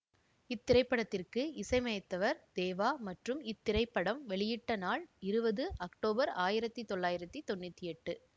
இத்திரைப்படத்திற்கு இசையமைத்தவர் தேவா மற்றும் இத்திரைப்படம் வெளியிட பட்ட நாள் இருபது அக்டோபர் ஆயிரத்தி தொள்ளாயிரத்தி தொன்னூதி எட்டு